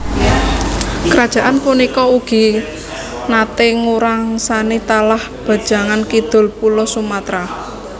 Kerajaan punika ugi naté nguwasani tlatah bagéyan kidul Pulo Sumatera